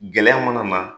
Gɛlɛya mana na